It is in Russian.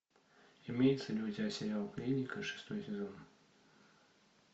имеется ли у тебя сериал клиника шестой сезон